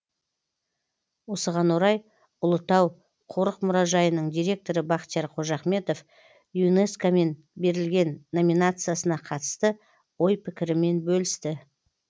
осыған орай ұлытау қорық мұражайының директоры бақтияр қожахметов юнеско мен берілген номинациясына қатысты ой пікірімен бөлісті